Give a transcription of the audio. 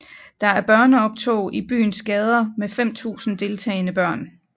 Der er børneoptog i byens gader med 5000 deltagende børn